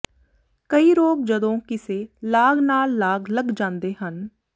ਕਈ ਰੋਗ ਜਦੋਂ ਕਿਸੇ ਲਾਗ ਨਾਲ ਲਾਗ ਲੱਗ ਜਾਂਦੇ ਹਨ